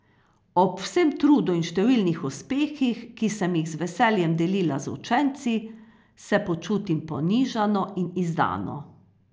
Ob vsem trudu in številnih uspehih, ki sem jih z veseljem delila z učenci, se počutim ponižano in izdano.